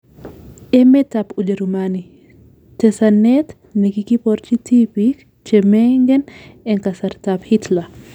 Emet ab Ujerumani; Tesanet nekikiborchi tipiik chemengen en kasartab hitler